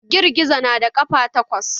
Gizo-gizo na da ƙafa takwas